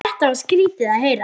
Þetta var skrýtið að heyra.